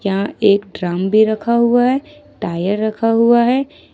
यहां एक ड्रम भी रखा हुआ है टायर रखा हुआ है।